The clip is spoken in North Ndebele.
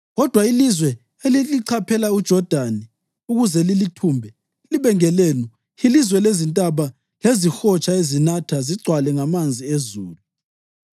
Kodwa ilizwe elilichaphela uJodani ukuze lilithumbe libe ngelenu yilizwe lezintaba lezihotsha ezinatha zigcwale ngamanzi ezulu.